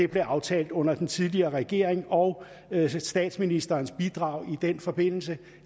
blev aftalt under den tidligere regering og statsministerens historiske bidrag i den forbindelse